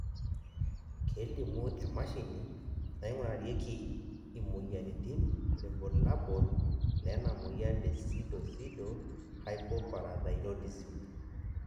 kelimu emashini naingurarieki imoyiaritin irbulabol lena moyian e Pseudopseudohypoparathyroidism.